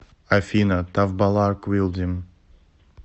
афина тавбалар квилдим